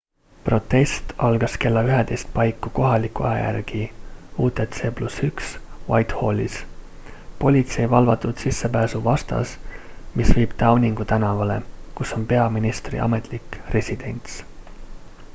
protest algas kella 11.00 paiku kohaliku aja järgi utc +1 whitehallis politsei valvatud sissepääsu vastas mis viib downingu tänavale kus on peaministri ametlik residents